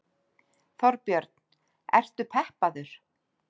Þorbjörn: Ertu peppaður?